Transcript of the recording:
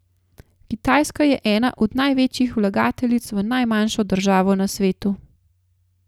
Kitajska je ena od največjih vlagateljic v najmlajšo državo na svetu.